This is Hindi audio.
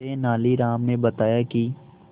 तेनालीराम ने बताया कि